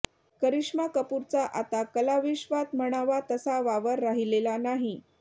करिश्मा कपूरचा आता कलाविश्वात म्हणावा तसा वावर राहिलेला नाही